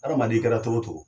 Hadamaden i kɛra togo togo.